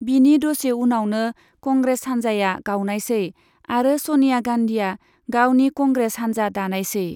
बिनि दसे उनावनो, कंग्रेस हान्जाया गावनायसै आरो स'निया गान्धीआ गावनि कंग्रेस हान्जा दानायसै।